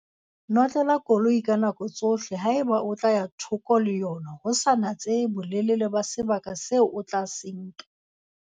Notlela koloi ka nako tsohle haeba o tla ya thoko le yona ho sa natsehe bolelele ba sebaka seo o tla se nka.